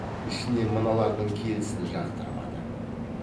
ішінен мыналардың келісін жақтырмады